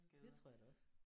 Det tror jeg da også